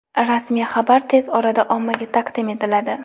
Rasmiy xabar tez orada ommaga taqdim etiladi.